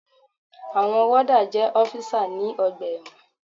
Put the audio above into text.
Àwọn wọ́dà jẹ́ ọ́físà ní ọgbà ẹ̀wọ̀n.